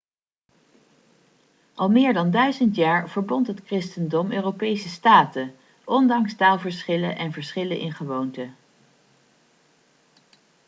al meer dan duizend jaar verbond het christendom europese staten ondanks taalverschillen en verschillen in gewoonten